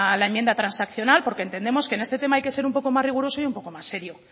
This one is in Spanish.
la enmienda transaccional porque entendemos que en este tema hay que ser un poco más riguroso y un poco más serio